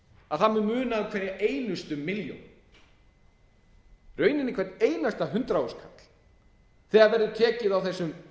að það mun muna um hverja einustu milljón í rauninni hvern einasta hundrað þúsund kall þegar verður tekið á þessum